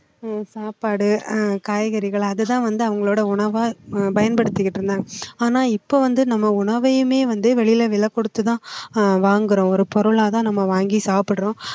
சாப்பாடு அஹ் காய்கறிகள் அதுதான் வந்து அவங்களோட உணவா பயன்படுத்திக்கிட்டு இருந்தாங்க ஆனா இப்போ வந்து நம்ம உணவையுமே வந்து வெளியில விலை கொடுத்து தான் ஆஹ் வாங்குறோம் ஒரு பொருளா தான் நம்ம வாங்கி சாப்பிடுறோம்